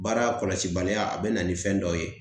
Baara kɔlɔsi baliya a be na ni fɛn dɔ ye